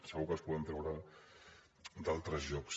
segur que els poden treure d’altres llocs